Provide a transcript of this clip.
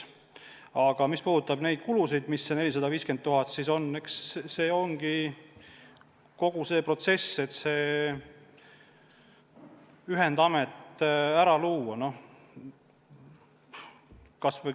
Aga mis puudutab kulusid, seda 450 000 eurot, siis kogu see protsess, et ühendamet luua, nõuabki nii palju.